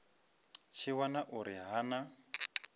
tshi wana uri ha na